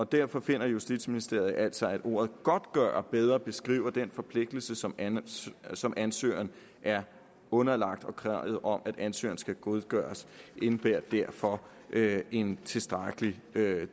derfor finder justitsministeriet altså at ordet godtgøre bedre beskriver den forpligtelse som som ansøgeren er underlagt og kravet om at ansøgeren skal godtgøre indebærer derfor en tilstrækkelig